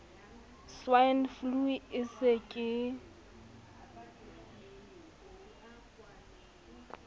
swine flu e se ke